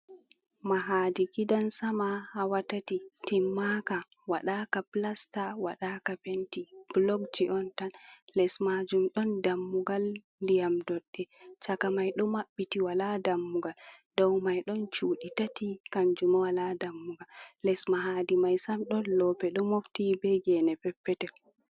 Mahadi gidansama hawatati timmaka, waɗaka pilasta waɗaka penti, bulokji on tan les majum ɗon dammugal ndiyam doɗɗe, caka mai ɗo maɓɓiti wala dammuga dow mai ɗon cuɗi tati kanjuma wala dammugal, les mahadi maisam ɗon loope ɗo mofti be gene peppetel.